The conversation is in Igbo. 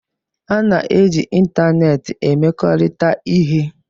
A na-eji ịntanetị emekọrịta ihe